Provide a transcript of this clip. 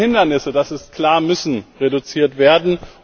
Diese Hindernisse das ist klar müssen reduziert werden.